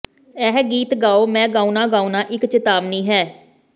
ਇਹ ਗੀਤ ਗਾਓ ਮੈਂ ਗਾਉਣਾ ਗਾਉਣਾ ਇੱਕ ਚੇਤਾਵਨੀ ਹੈ